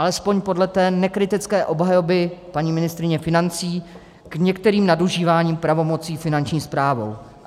Alespoň podle té nekritické obhajoby paní ministryně financí k některým nadužíváním pravomocí Finanční správou.